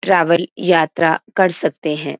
Travel यात्रा कर सकते हैं।